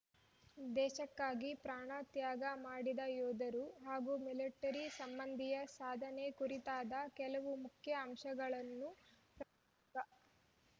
ದೇಶಕ್ಕಾಗಿ ಪ್ರಾಣ ತ್ಯಾಗ ಮಾಡಿದ ಯೋಧರು ಹಾಗೂ ಮಿಲಿಟರಿ ಸಂಮಂದಿಯ ಸಾಧನೆ ಕುರಿತಾದ ಕೆಲವು ಮುಖ್ಯ ಅಂಶಗಳನ್ನು ಪ್ರಾಥಮಿಕ